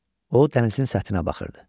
O dənizin səthinə baxırdı.